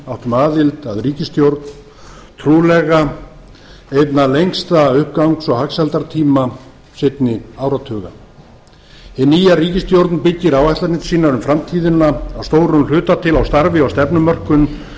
áttum aðild að ríkisstjórn trúlega einna lengsta uppgangs og hagsældartíma seinni áratuga hin nýja ríkisstjórn byggir áætlanir sínar um framtíðina að stórum hluta til á starfi og stefnumörkun sem